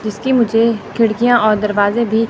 जिसकी मुझे खिड़कियां और दरवाजे भी--